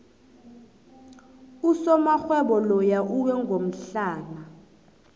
usomarhwebo loya uwe ngomhlana